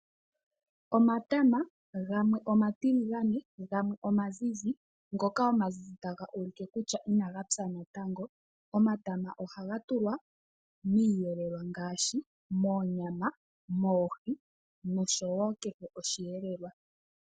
Omatama gamwe omatiligane gamwe omazizi, ngoka omazizi taga ulike kutya inaga pya natango. Omatama ohaga tulwa miiyelelwa ngaashi moonyama, moohi nosho wo kehe osheelelelwa.